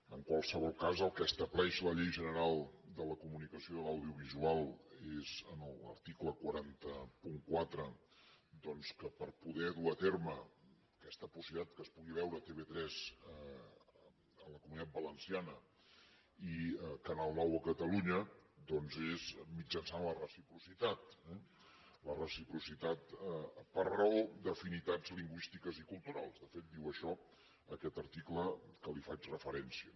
en qualsevol cas el que estableix la llei general de la comunicació audiovisual és en l’article quatre cents i quatre doncs que per poder dur a terme aquesta possibilitat que es pugui veure tv3 a la comunitat valenciana i canal nou a catalunya doncs és mitjançant la reciprocitat eh la reciprocitat per raó d’afinitats lingüístiques i culturals de fet diu això aquest article a què li faig referència